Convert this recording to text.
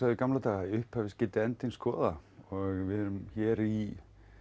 í gamla daga í upphafi skyldi endinn skoða við erum hér í